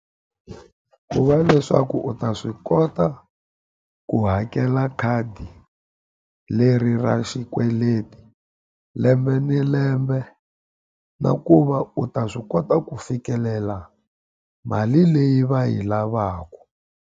Ku va leswaku u ta swi kota ku hakela khadi leri ra xikweleti lembe ni lembe, na ku va u ta swi kota ku fikelela mali leyi va yi lavaka.